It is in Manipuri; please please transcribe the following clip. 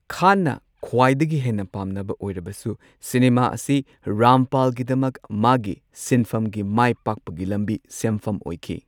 ꯈꯥꯟꯅ ꯈ꯭ꯋꯥꯏꯗꯒꯤ ꯍꯦꯟꯅ ꯄꯥꯝꯅꯕ ꯑꯣꯢꯔꯕꯁꯨ ꯁꯤꯅꯦꯃꯥ ꯑꯁꯤ ꯔꯥꯝꯄꯥꯜꯒꯤꯗꯃꯛ ꯃꯥꯒꯤ ꯁꯤꯟꯐꯝꯒꯤ ꯃꯥꯢꯄꯥꯛꯄꯒꯤ ꯂꯝꯕꯤ ꯁꯦꯝꯐꯝ ꯑꯣꯢꯈꯤ꯫